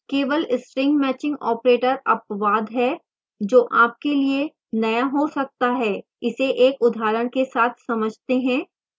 केवल string matching operator अपवाद है जो आपके लिए नया हो सकता है